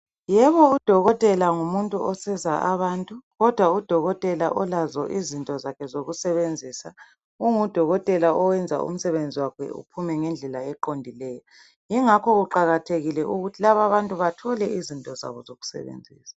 Yebo udokotela ngumuntu osiza abantu, kodwa udokotela olazo izinto zakhe zokusebenzisa ungudokotela oyenza umsebenzi wakhe uphume ngendlela eqondileyo. Yikho kuqakathekile ukutji lab' abantu bathole izinto zabo zokusebenzisa.